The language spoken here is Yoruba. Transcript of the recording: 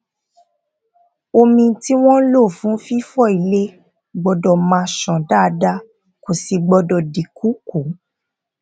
omi tí wón lò fún fífọ ilè gbódò máa ṣàn dáadáa kò sì gbódò di ìkùukùu